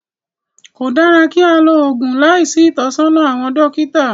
Kò dára kí á lo oògùn láìsí ìtọ́sọ́nà àwọn dókítà